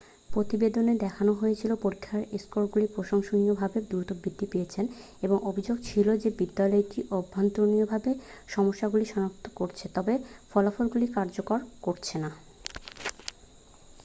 প্রতিবেদনে দেখানো হয়েছিল পরীক্ষার স্কোরগুলি প্রশংসনীয়ভাবে দ্রুত বৃদ্ধি পেয়েছিল এবং অভিযোগ ছিল যে বিদ্যালয়টি অভ্যন্তরীণভাবে সমস্যাগুলি সনাক্ত করেছে তবে ফলাফলগুলি কার্যকর করেছে না